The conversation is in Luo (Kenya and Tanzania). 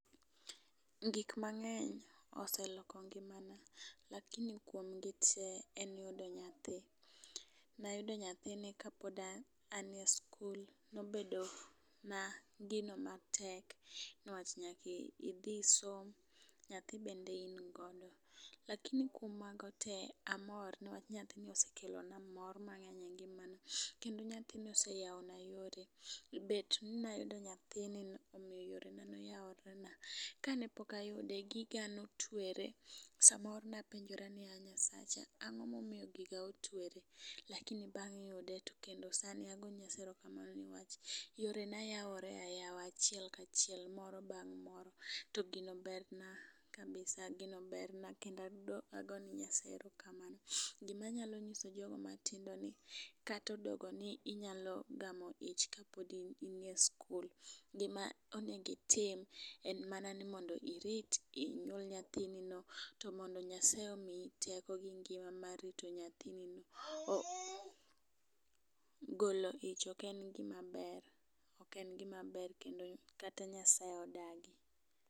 Gikmang'eny oseloko ngimana lakini kuom gite en yudo nyathi. Nayudo nyathini kapod an e skul nobedo na gino matek nwach nyakidhi isom nyathi bende in godo. Lakini kuom mago te amor nwach nyathini osekelona mor mang'eny e ngimana kendo nyathini oseyawona yore, bet ni nayudo nyathini yorena noyaworena. Kanepok ayude, giga notwere samoro napenjora ni ya Nyasacha ang'omomiyo giga otwere lakini bang' yude to kendo sani ago ne Nyasaye erokamano niwach yorena yawore ayawa achiel kachiel moro bang' moro, to gino berna kabisa, gino berna kendo ago ne Nyasaye erokamano. Gima anyalo nyiso jogo matindo en ni katodogo ni inyalo gamo ich kapodi in e skul gima onego itim en mana ni mondo irit inyuol nyathinino to mondo Nyasaye omikyi teko to gi ngima mar rito nyathinino. Golo ich ok en gimaber, ok en gimaber kendo kata Nyasaye odagi.